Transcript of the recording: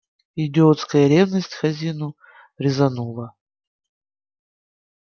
и идиотская ревность к хазину резанула